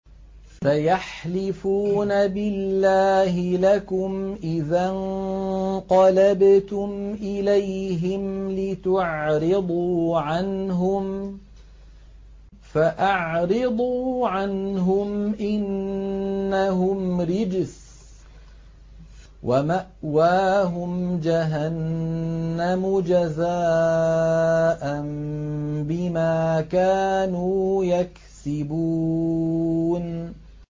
سَيَحْلِفُونَ بِاللَّهِ لَكُمْ إِذَا انقَلَبْتُمْ إِلَيْهِمْ لِتُعْرِضُوا عَنْهُمْ ۖ فَأَعْرِضُوا عَنْهُمْ ۖ إِنَّهُمْ رِجْسٌ ۖ وَمَأْوَاهُمْ جَهَنَّمُ جَزَاءً بِمَا كَانُوا يَكْسِبُونَ